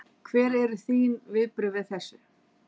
Hver eru þín viðbrögð við þessu?